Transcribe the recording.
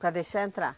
Para deixar entrar?